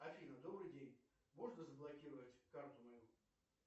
афина добрый день можно заблокировать карту мою